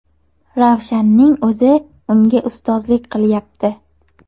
Ravshanning o‘zi unga ustozlik qilyapti.